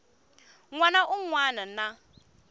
n wana un wana na